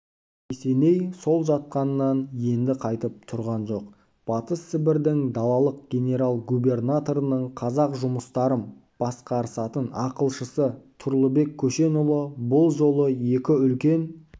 есеней сол жатқанынан енді қайтып тұрған жоқ батыс сібірдің далалық генерал-губернаторының қазақ жұмыстарым басқарысатын ақылшысы тұрлыбек көшенұлы бұл жолы екі үлкен